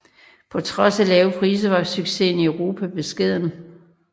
På trods af lave priser var succesen i Europa beskeden